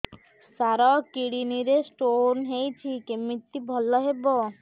ସାର kidney ରେ stone ହେଇଛି କମିତି ଭଲ ହେବ